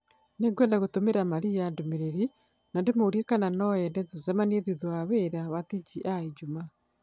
Nĩngwenda gũtũmĩra Maria ndũmĩrĩri na ndĩmũrie kana no ende tũcemanie thutha wa wĩra wa TGI Jumaa